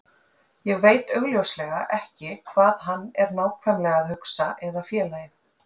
Ég veit augljóslega ekki hvað hann er nákvæmlega að hugsa eða félagið.